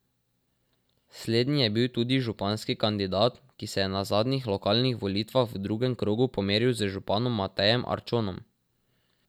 Slednji je bil tudi županski kandidat, ki se je na zadnjih lokalnih volitvah v drugem krogu pomeril z županom Matejem Arčonom.